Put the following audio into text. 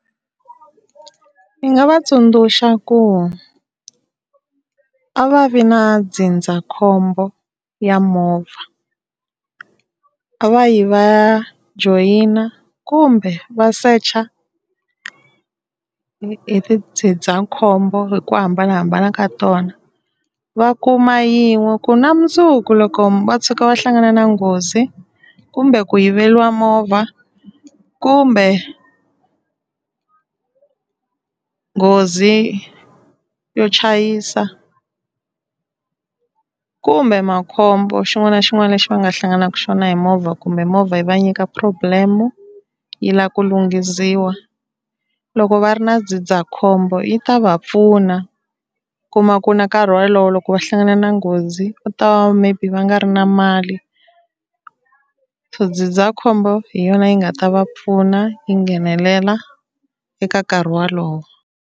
Ni nga va tsundzuxa ku a va vi na ndzindzakhombo ya movha, a va yi va ya joyina kumbe va secha hi hi tindzindzakhombo hi ku hambanahambana ka tona va kuma yin'we, ku na mundzuku loko va tshuka va hlangana na nghozi kumbe ku yiveriwa movha kumbe nghozi yo chayisa kumbe makhombo xin'wana na xin'wana lexi va nga hlanganaka xona hi movha kumbe movha yi va nyika problem yi lava ku lunghisiwa, loko va ri na ndzindzakhombo yi ta va pfuna kuma ku na nkarhi wolowo loko va hlangana na nghozi va ta va maybe va nga ri na mali, so ndzindzakhombo hi yona yi nga ta va pfuna yi nghenelela eka nkarhi wolowo.